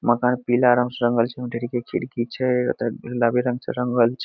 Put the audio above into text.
मकान पीला रंग से रंगल छै ओय में ढ़ेरीके खिड़की छै ओयता गुलाबी रंग से रंगल छै।